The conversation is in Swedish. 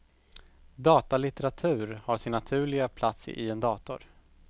Datalitteratur har sin naturliga plats i en dator.